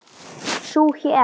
Sú hét